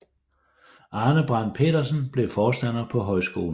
Arne Brandt Pedersen blev forstander på højskolen